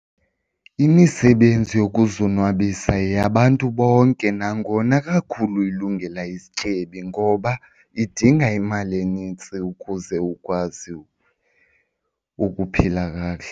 Imisebenzi yokuzonwabisa yeyabantu bonke nangona kakhulu ilungela izityebi ngoba idinga imali enintsi ukuze ukwazi ukuphila kakuhle.